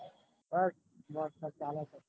બસ મસ્ત ચાલે છે.